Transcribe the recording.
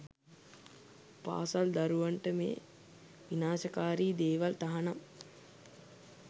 පාසල් දරුවන්ට මේ විනාශකාරි දේවල් තහනම්